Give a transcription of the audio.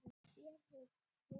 Þér hikið?